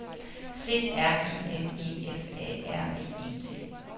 C R E M E F A R V E T